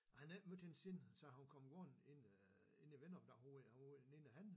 Han havde ikke mødt hende siden så han var kommet gående ind øh inde i ventegangen ude i ude i den ene ende